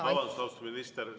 Vabandust, austatud minister!